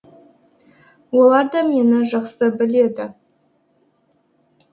олар да мені жақсы біледі